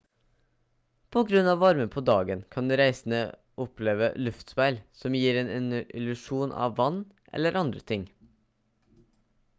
på grunn av varmen på dagen kan reisende oppleve luftspeil som gir en illusjon av vann eller andre ting